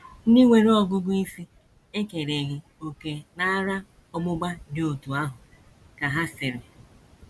“ Ndị nwere ọgụgụ isi... ekereghị òkè n’ara ọgbụgba dị otú ahụ, ” ka ha sịrị.